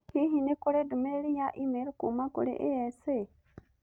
Hihi nĩ kũrĩ ndũmĩrĩri ya e-mail kuuma kũrĩ Asa